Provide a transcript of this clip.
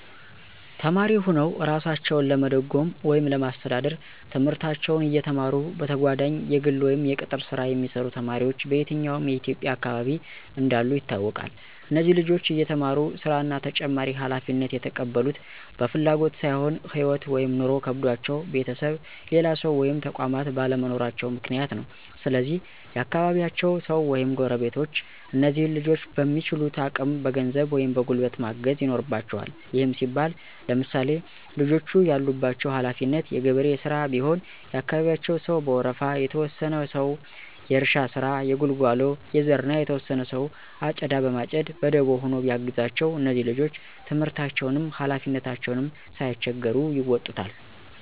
ተማሪ ሁነዉ እራሳቸዉን ለመደጎም ወይም ለማስተዳደር፤ ትምህርታቸዉን እየተማሩ በተጋጓዳኝ የግል ወይም የቅጥር ሥራ የሚሰሩ ተማሪዎች በየትኛዉም የኢትዬጵያ አካባቢ እንዳሉ ይታወቃል። እነዚህ ልጆች እየተማሩ ሥራ እና ተጨማሪ ሀላፊነት የተቀበሉት በፍላጎት ሳይሆን ህይወት (ኑሮ) ከብዷቸዉ ቤተሰብ፣ ሌላ ሰዉ ወይም ተቋማት ባለመኖራቸዉ ምክንያት ነው። ስለዚህ የአካባቢያቸዉ ሰዉ ወይም ጎረቤቶች እነዚህን ልጆች በሚችሉት አቅም በገንዘብ ወይም በጉልበት ማገዝ ይኖርበቸዋል። ይህም ሲባል ለምሳሌ፦ ልጆቹ ያለባቸው ሀለፊነት የገበሬ ሥራ ቢሆን የአካባቢያቸው ሰዉ በወረፋ፤ የተወሰነ ሰዉ የእርሻ ስራ፣ የጉልጓሎ፣ የዘር እና የተወሰነ ሰዉ አጨዳ በማጨድ በደቦ ሆኖ ቢያግዛቸዉ እነዚህ ልጆች ትምህርታቸዉንም ሀላፊነታቸዉንም ሳይቸገሩ ይወጡታል።